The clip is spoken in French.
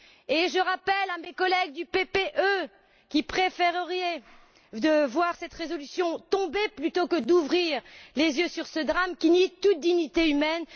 Et je le rappelle à mes collègues du PPE qui préfèreraient voir cette résolution tomber plutôt qu'ouvrir les yeux sur ce drame, qui nie toute dignité humaine.